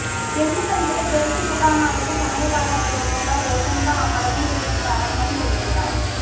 ఎందుకంటే బెల్టు దుకాణాలకు సమయపాలన లేకుండా రోజంతా అమ్మడమే ఇందుకు కారణమని చెబుతున్నారు